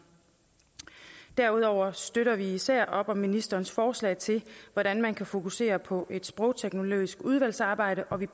derudover støtter vi især op om ministerens forslag til hvordan man kan fokusere på et sprogteknologisk udvalgsarbejde og vi